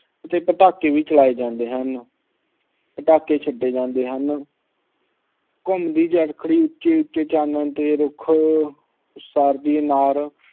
ਅਤੇ ਪਟਾਕੇ ਵੀ ਚਲਾਏ ਜਾਂਦੇ ਹਨ। ਪਟਾਕੇ ਛੱਡੇ ਜਾਂਦੇ ਹਨ। ਘੁਮੰਦੀ ਚਰਖੜੀ ਚਾਨਣ ਨਾਲ ਰੁੱਖ ਅਨਾਰ